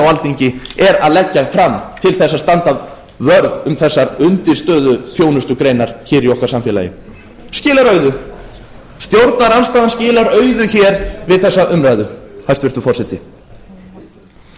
alþingi er að leggja fram til þess að standa vörð um þessar undirstöðuþjónustugreinar hér í okkar samfélagi skilar auðu stjórnarandstaða skilar auðu hér við þessa umræðu hæstvirtur forseti reyndar